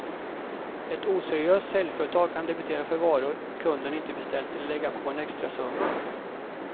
Ett oseriöst säljföretag kan debitera för varor kunden inte beställt eller lägga på en extrasumma.